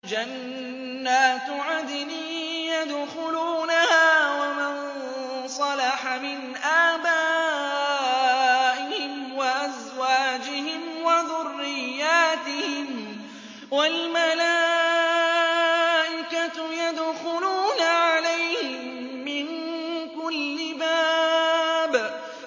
جَنَّاتُ عَدْنٍ يَدْخُلُونَهَا وَمَن صَلَحَ مِنْ آبَائِهِمْ وَأَزْوَاجِهِمْ وَذُرِّيَّاتِهِمْ ۖ وَالْمَلَائِكَةُ يَدْخُلُونَ عَلَيْهِم مِّن كُلِّ بَابٍ